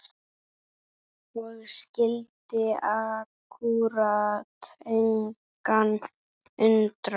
Og skyldi akkúrat engan undra!